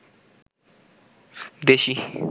দেশি